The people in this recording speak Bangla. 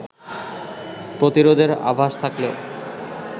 প্রতিরোধের আভাস থাকলেও